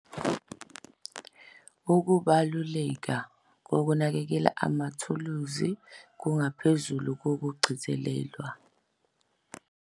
Ukubaluleka kokunakekela amathuluzi kungaphezu kokugcizelelwa.